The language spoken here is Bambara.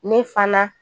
Ne fana